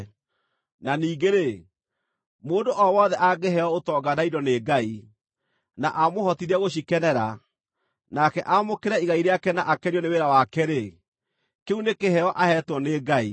Na ningĩ-rĩ, mũndũ o wothe angĩheo ũtonga na indo nĩ Ngai, na amũhotithie gũcikenera, nake aamũkĩre igai rĩake na akenio nĩ wĩra wake-rĩ, kĩu nĩ kĩheo aheetwo nĩ Ngai.